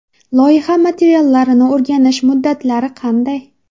Loyiha materiallarini o‘rganish muddatlari qanday?